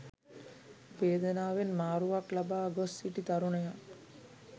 වේදනාවෙන් මාරුවක් ලබා ගොස් සිටි තරුණයා